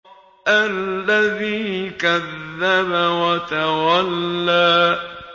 الَّذِي كَذَّبَ وَتَوَلَّىٰ